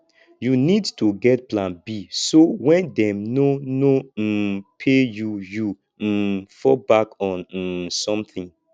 you need to get plan b so when dem no no um pay you you um fall back on um something